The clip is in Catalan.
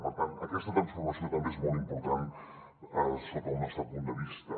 per tant aquesta transformació també és molt important sota el nostre punt de vista